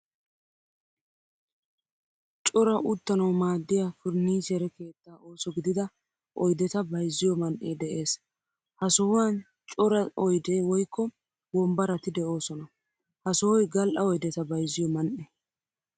Cora uttanawu maadiyaa furnichchere keetta ooso gidida oydetta bayzziyo man'ee de'ees. Ha sohuwan cora oyde woykko wombbaratti deosona. Ha sohoy gal'a oydetta bayzziyo man'e.